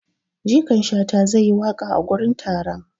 Jikan shata zai yi waƙa a gurin taron.